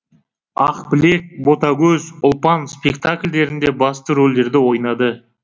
ақбілек ботагөз ұлпан спектакльдерінде басты рольдерді ойнады